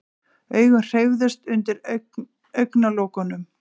Augun hreyfðust undir augnalokunum.